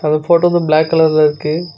அந்த ஃபோட்டோ வந்து ப்ளாக் கலர்ல இருக்கு.